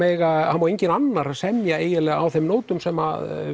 má enginn annar semja eiginlega á þeim nótum sem